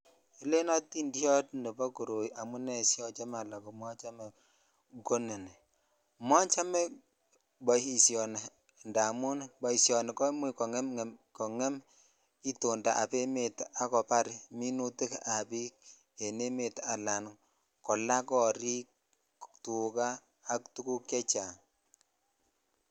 Elen otindot nebo koroi amune siocho ala komochome ko ni mochome boishoni indamun boishoni komuch kongem itotap emet ak kobar minitik ab bik en emet ala kolaa korik , tuka ak tuguk chechang.